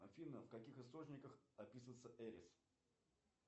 афина в каких источниках описывается эрис